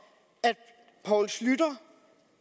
poul schlüter